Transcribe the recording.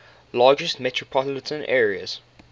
largest metropolitan areas